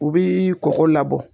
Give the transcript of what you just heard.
U bi kɔgɔ labɔ.